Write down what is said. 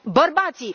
Bărbații.